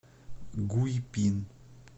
гуйпин